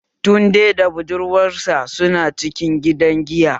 Tunde da budurwar sa su na cikin gida giya